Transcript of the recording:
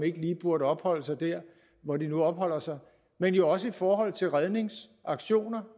ikke lige burde opholde sig der hvor de nu opholder sig men jo også i forhold til redningsaktioner